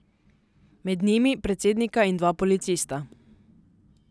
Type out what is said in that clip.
Med njimi predsednika in dva policista.